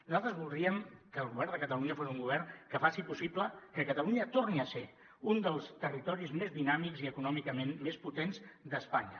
nosaltres voldríem que el govern de catalunya fos un govern que faci possible que catalunya torni a ser un dels territoris més dinàmics i econòmicament més potents d’espanya